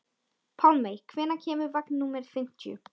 Pálmey, hvenær kemur vagn númer fimmtíu?